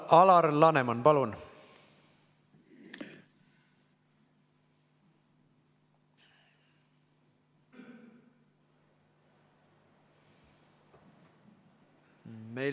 Alar Laneman, palun!